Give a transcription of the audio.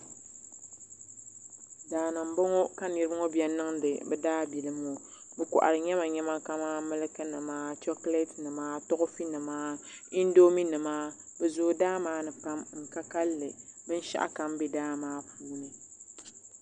Daani m boŋɔ ka niriba ŋɔ biɛni n niŋdi daabilim ŋɔ bɛ kohari nyemanyema ka man miliki nima chokileti nima toofi nima indomi nima bɛ zoo daa maani pam bɛ ka kalli binshaɣu kam be daa maa puuni.